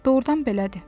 Doğrudan belədir.